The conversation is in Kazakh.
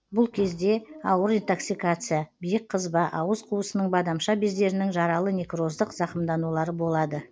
бұл кезде ауыр итоксикация биік қызба ауыз қуысының бадамша бездерінің жаралы некроздық зақымданулары болады